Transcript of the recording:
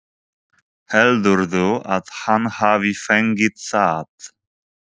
Heldurðu að hann hafi fengið það?